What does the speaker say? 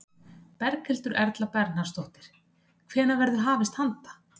Berghildur Erla Bernharðsdóttir: Hvenær verður hafist handa?